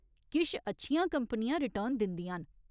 किश अच्छियां कंपनियां रिटर्न दिंदियां न।